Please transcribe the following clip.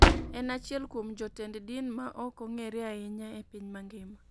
En achiel kuom jotend din ma ok ong'ere ahinya e piny mangima.